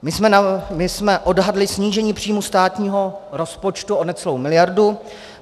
My jsme odhadli snížení příjmů státního rozpočtu o necelou miliardu.